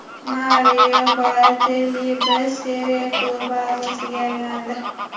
Mario Balotelli B Seriya klubi a’zosiga aylandi.